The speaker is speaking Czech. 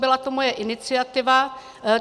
Byla to moje iniciativa.